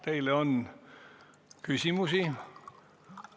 Teile on küsimusi.